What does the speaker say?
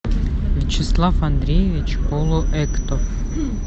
вячеслав андреевич полуэктов